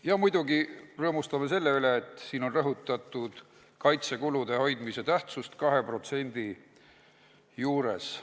Ja muidugi rõõmustame selle üle, et siin on rõhutatud kaitsekulude 2% juures hoidmise tähtsust.